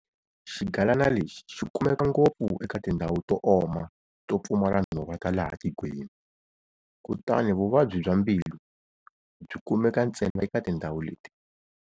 Xigalana lexi xi kumeka ngopfu eka tindhawu to oma to pfumala nhova ta laha tikweni, kutani Vuvabyi bya mbilu byi kumeka ntsena eka tindhawu leti.